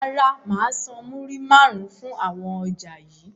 Rárá, máa san múrí máarun fún àwọn ọjà yii.